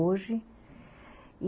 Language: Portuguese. Hoje.